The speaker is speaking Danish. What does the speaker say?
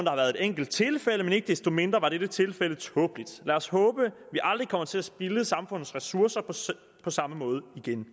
har været et enkelt tilfælde men ikke desto mindre var dette tilfælde tåbeligt lad os håbe vi aldrig kommer til at spilde samfundets ressourcer på samme måde igen